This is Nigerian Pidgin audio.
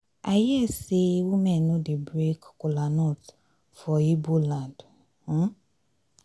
i hear say women no dey break kola nut for igbo land um